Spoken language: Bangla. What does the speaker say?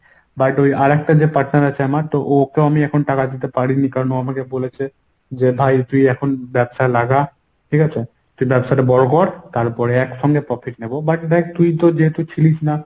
but ওই আরেকটা যে partner আছে আমার ওকে এখন আমি টাকা দিতে পারি নি কারণ ও আমাকে বলেছে যে ভাই তুই এখন ব্যবসায় লাগা। ঠিকাছে? তুই ব্যবসাটা বড় কর তারপরে একসঙ্গে profit নেবো but দেখ তুই তো যেহেতু ছিলিস না